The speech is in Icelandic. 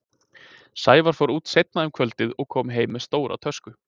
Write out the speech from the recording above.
Sævar fór út seinna um kvöldið og kom heim með stóra tösku.